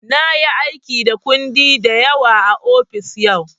Na yi aiki da kundi da yawa a ofis yau.